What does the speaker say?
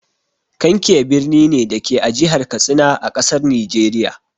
Kankia birni ne, da ke a Jihar Katsina, a ƙasar Nijeriya.